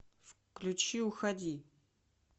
включи уходи